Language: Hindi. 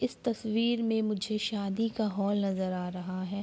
इस तस्वीर में मुझे शादी का हॉल नजर आ रहा है।